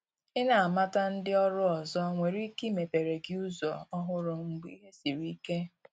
i na amata ndị ọrụ ọzọ nwere ike imepere gi ụzọ ọhụrụ mgbe ìhè sịrị ike